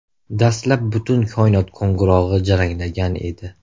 Dastlab butun koinot qo‘ng‘irog‘i jaranglagan edi.